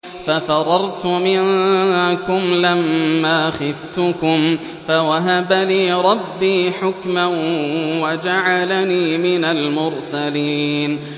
فَفَرَرْتُ مِنكُمْ لَمَّا خِفْتُكُمْ فَوَهَبَ لِي رَبِّي حُكْمًا وَجَعَلَنِي مِنَ الْمُرْسَلِينَ